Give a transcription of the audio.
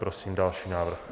Prosím další návrh.